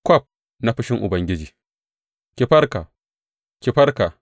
Kwaf na fushin Ubangiji Ki farka, ki farka!